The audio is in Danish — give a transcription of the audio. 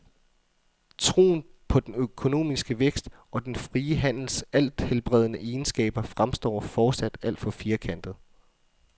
Troen på den økonomiske vækst og den frie handels althelbredende egenskaber fremstår fortsat alt for firkantet.